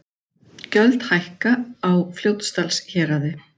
Gjöld hækka á Fljótsdalshéraði